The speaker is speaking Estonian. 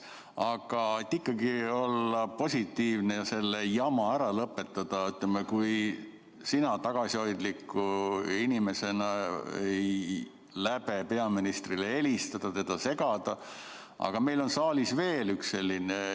Aga et ikkagi olla positiivne ja see jama ära lõpetada, siis ütleme, kui sina tagasihoidliku inimesena ei tihka peaministrile helistada, teda segada, siis meil on saalis veel üks inimene.